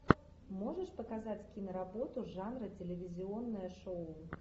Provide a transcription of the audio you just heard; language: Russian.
можешь показать киноработу жанра телевизионное шоу